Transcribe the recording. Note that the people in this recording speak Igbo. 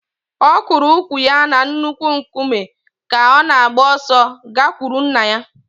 Ọ kụrụ ụkwụ ya na nnukwu nkume ka ọ na-agba ọsọ gakwuru nna ya